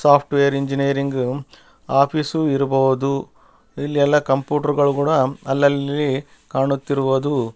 soft wear engineering office ಇರ್ಬಹುದು ಇಲ್ಲಿ ಎಲ್ಲ ಕಂಪ್ಯೂಟರ್ ಕೂಡ ಅಲ್ಲಲ್ಲಿ ಕಾಣುತ್ತಿರುವುದು --